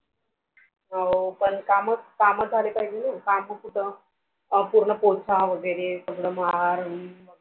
हँ पण काम कामं झाले पाहिजे ना काम कुठ आणि पूर्ण पोछा वैगेरे सगळं मार आन